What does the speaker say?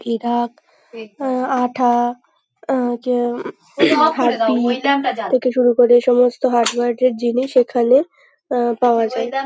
এরা অম আঠা অম যে থেকে শুরু করে এই সমস্ত হার্ডওয়ার -এর জিনিস এখানে আহ পাওয়া যায়।